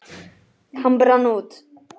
Hann brann út.